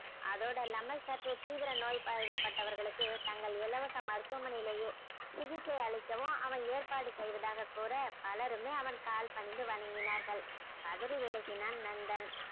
அதோட இல்லாமல் சற்று தீவிர நோய்வாய் பா~பட்டவர்களுக்கு தங்கள் இலவச மருத்துவமனையிலேயே சிகிச்சை அளிக்கவும் அவன் ஏற்பாடு செய்வதாக கூற பலருமே அவன் கால் பணிந்து வணங்கினார்கள் பதறி விழகினான் நந்தன்.